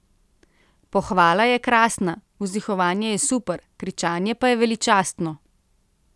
Pohvala je krasna, vzdihovanje je super, kričanje pa je veličastno!